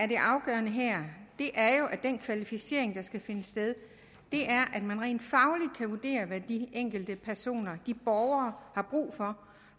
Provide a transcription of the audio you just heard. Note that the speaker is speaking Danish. det afgørende her er jo at den kvalificering der skal finde sted er at man rent fagligt kan vurdere hvad de enkelte borgere har brug for